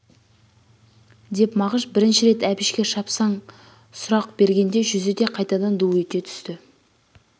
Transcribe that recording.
деп мағыш бірінші рет әбішке шапшаң сұрақ бергенде жүзі де қайтадан ду ете түсті